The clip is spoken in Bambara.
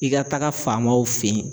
I ka taga faamaw fe yen.